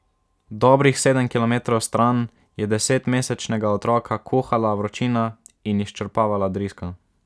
Dobrih sedem kilometrov stran je desetmesečnega otroka kuhala vročina in izčrpavala driska.